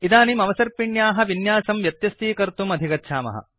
इदानीं अवसर्पिण्याः विन्यासं व्यत्यस्तीकर्तुम् अधिगच्छामः